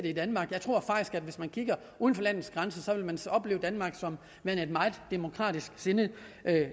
i danmark jeg tror faktisk at hvis man kigger uden for landets grænser opleves danmark som værende et meget demokratisksindet